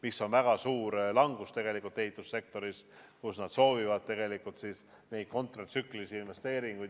See on väga suur langus ehitussektoris, kus nad soovivad neid kontratsüklilisi investeeringuid.